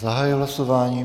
Zahajuji hlasování.